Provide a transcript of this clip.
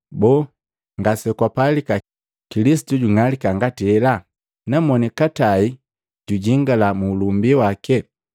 Boo, ngasekwapalika Kilisitu jung'alika ngati hela, na moni katai jujingila mu ulumbi wake?”